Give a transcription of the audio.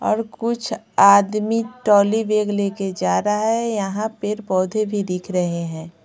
और कुछ आदमी टॉली बैग लेकर जा रहा है यहां पेड़ पौधे भी दिख रहे हैं।